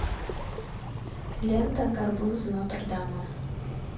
лента горбун из нотр дама